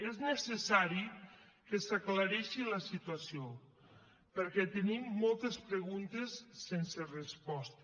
és necessari que s’aclareixi la situació perquè tenim moltes preguntes sense resposta